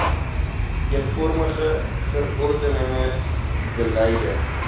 eenvormige verordenige beleide